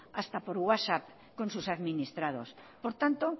hasta por whatsapp con sus administrados por tanto